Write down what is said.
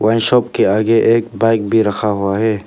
वहीं शाप के आगे एक बाइक भी रखा हुआ है।